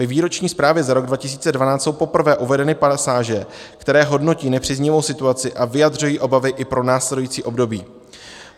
Ve výroční zprávě za rok 2012 jsou poprvé uvedeny pasáže, které hodnotí nepříznivou situaci a vyjadřují obavy i pro následující období.